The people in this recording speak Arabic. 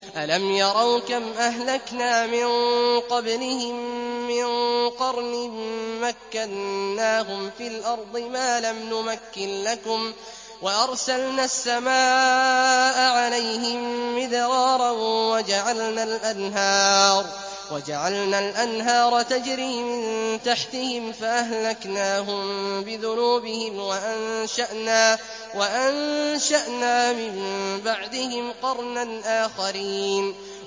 أَلَمْ يَرَوْا كَمْ أَهْلَكْنَا مِن قَبْلِهِم مِّن قَرْنٍ مَّكَّنَّاهُمْ فِي الْأَرْضِ مَا لَمْ نُمَكِّن لَّكُمْ وَأَرْسَلْنَا السَّمَاءَ عَلَيْهِم مِّدْرَارًا وَجَعَلْنَا الْأَنْهَارَ تَجْرِي مِن تَحْتِهِمْ فَأَهْلَكْنَاهُم بِذُنُوبِهِمْ وَأَنشَأْنَا مِن بَعْدِهِمْ قَرْنًا آخَرِينَ